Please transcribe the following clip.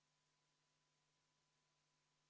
Poolt on 57 Riigikogu liiget, vastu 23, erapooletuid 0.